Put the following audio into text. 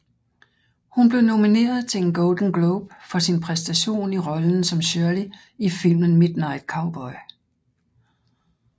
Hun blev nomineret til en Golden Globe for sin præstation i rollen som Shirley i filmen Midnight Cowboy